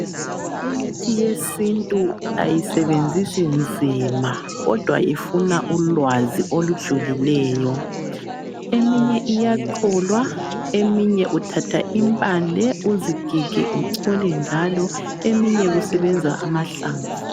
Imithi yesintu ayisebenzisi nzima kodwa ifuna ulwazi olujulileyo. Eminye iyacholwa. Eminye uthatha impande uzigige uchole njalo. Eminye kusebenza amahlamvu.